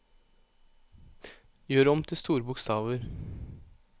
Gjør om til store bokstaver